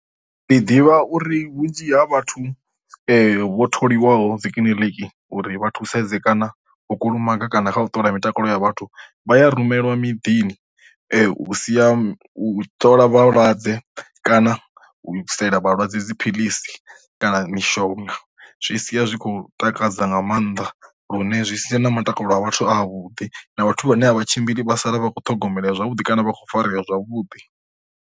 Ndi ḓivha uri vhunzhi ha vhathu vho tholiwaho dzi kiḽiniki uri vha thusedze kana u kulumaga kana kha u ṱola mitakalo ya vhathu, vha ya rumeliwa miḓini vhu sia ṱola vhalwadze kana u isela vhalwadze dziphiḽisi kana mishonga. Zwi sia zwi khou takadza nga maanḓa lune zwi sia na matakalo a vhathu a vhuḓi na vhathu vhane a vha tshimbili vha sala vhakho ṱhogomela ya zwavhuḓi kana vha kho farea zwavhuḓi.